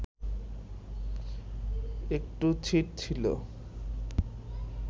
একটু ছিট ছিল